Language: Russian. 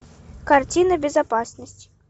картина безопасность